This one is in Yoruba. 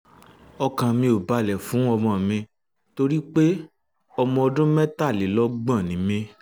ọkàn mi ò balẹ̀ fún ọmọ mi torí pé ọmọ ọdún mẹ́tàlélọ́gbọ̀n ni mí